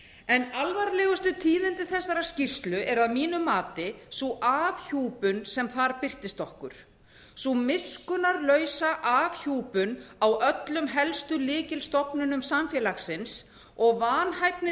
en alvarlegustu tíðindi þessarar skýrslu eru að mínu mati sú afhjúpun sem þar birtist okkur sú miskunnarlaus afhjúpun á öllum helstu lykilstofnunum samfélagsins og vanhæfni